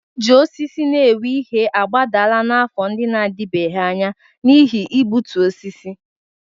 Iji osisi na-ewu ihe agbadala n'afọ ndị na-adịbeghị anya n'ihi igbutu osisi.